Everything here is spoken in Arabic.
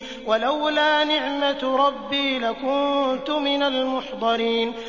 وَلَوْلَا نِعْمَةُ رَبِّي لَكُنتُ مِنَ الْمُحْضَرِينَ